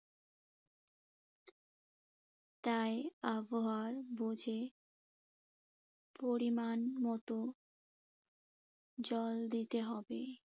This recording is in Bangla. তাই আবহাওয়ার বুঝে পরিমাণমতো জল দিতে হবে।